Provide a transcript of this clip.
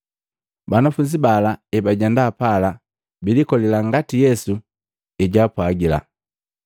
Banafunzi bala ebajenda pala, bunkolila ngati Yesu ejaapwagila.